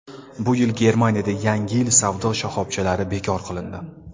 Bu yil Germaniyada Yangi yil savdo shoxobchalari bekor qilindi.